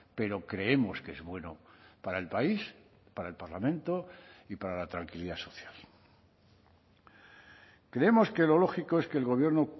pero creemos que es bueno para el país para el parlamento y para la tranquilidad social creemos que lo lógico es que el gobierno